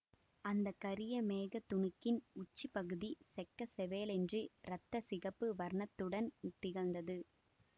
அந்த கரிய மேகத் துணுக்கின் உச்சிப் பகுதி செக்க செவேலென்று இரத்த சிகப்பு வர்ணத்துடன் திகழ்ந்தது